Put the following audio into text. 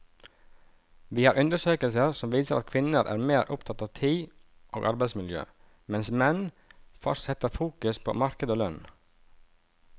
Vi har undersøkelser som viser at kvinner er mer opptatt av tid og arbeidsmiljø, mens menn setter fokus på marked og lønn.